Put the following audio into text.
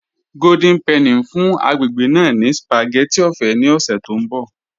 Golden Penny n fún agbègbè ná ní spagétì ọ̀fẹ̀ ni ọ̀ṣẹ̀ tó nbọ̀